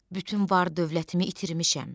Bütün var-dövlətimi itirmişəm.